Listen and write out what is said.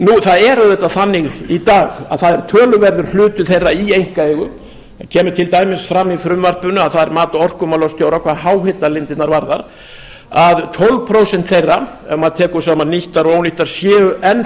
það er auðvitað þannig í dag að það er töluverður hluti þeirra í einkaeigu það kemur til dæmis fram í frumvarpinu að það er mat orkumálastjóra hvað háhitalindirnar varðar að tólf prósent þeirra ef maður tekur saman nýttar og ónýttar séu enn þá